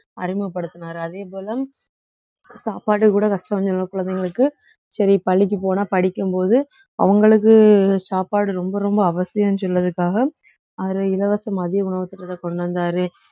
அறிமுகப்படுத்தினாரு அதேபோல சாப்பாட்டுக்கு கூட கஷ்டம்னு சொன்னா குழந்தைங்களுக்கு சரி பள்ளிக்கு போனா படிக்கும் போது அவங்களுக்கு சாப்பாடு ரொம்ப ரொம்ப அவசியம்னு சொல்றதுக்காக அதுல இலவச மதிய உணவு திட்டத்தை கொண்டு வந்தாரு